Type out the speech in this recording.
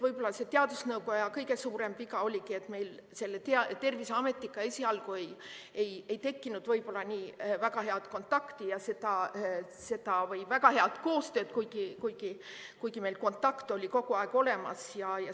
Võib-olla teadusnõukoja kõige suurem viga oligi see, et meil Terviseametiga esialgu ei tekkinud väga head kontakti või väga head koostööd, kuigi meil kontakt oli kogu aeg olemas.